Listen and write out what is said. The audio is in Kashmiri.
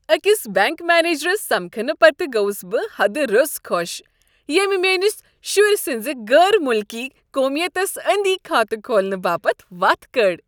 اكِس بینٛک مینیجرس سمكھنہٕ پتہٕ گوس بہٕ حدٕ روٚس خوش ییٚمۍ میٲنِس شُرۍ سٕنزِ غٲر مُلكی ییٚمۍ میٛٲنس شرِ سندِس غٲر مُلکی قومیتس أنٛدی کھاتہٕ كھولنہٕ باپت وتھ کڑ۔